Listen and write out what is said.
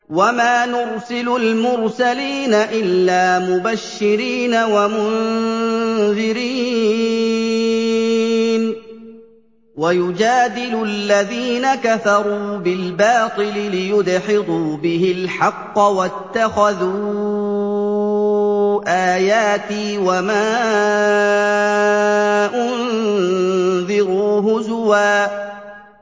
وَمَا نُرْسِلُ الْمُرْسَلِينَ إِلَّا مُبَشِّرِينَ وَمُنذِرِينَ ۚ وَيُجَادِلُ الَّذِينَ كَفَرُوا بِالْبَاطِلِ لِيُدْحِضُوا بِهِ الْحَقَّ ۖ وَاتَّخَذُوا آيَاتِي وَمَا أُنذِرُوا هُزُوًا